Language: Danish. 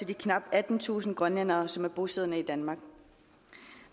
de knap attentusind grønlændere som er bosiddende i danmark